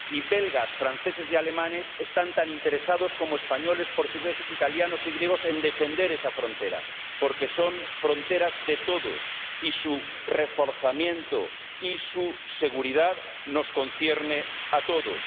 y belgas, franceses y alemanes están tan interesados como españoles, portugueses, italianos y griegos en defender esa frontera porque son fronteras de todos y su reforzamiento y su seguridad nos conciernen a todos.